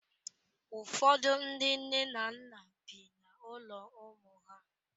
Ụfọdụ ndi nne na nna bi n'ụlọ ụmụ ha.